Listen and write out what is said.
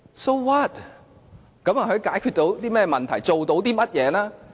這又解決到甚麼問題，做到甚麼呢？